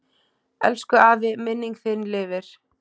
Elsku afi, minning þín lifir.